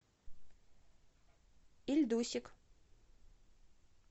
ильдусик